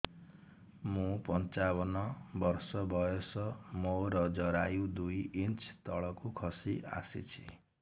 ମୁଁ ପଞ୍ଚାବନ ବର୍ଷ ବୟସ ମୋର ଜରାୟୁ ଦୁଇ ଇଞ୍ଚ ତଳକୁ ଖସି ଆସିଛି